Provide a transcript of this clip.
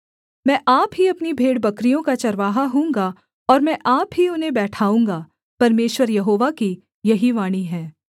मैं आप ही अपनी भेड़बकरियों का चरवाहा होऊँगा और मैं आप ही उन्हें बैठाऊँगा परमेश्वर यहोवा की यही वाणी है